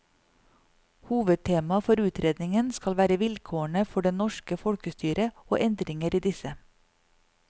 Hovedtemaet for utredningen skal være vilkårene for det norske folkestyret og endringer i disse.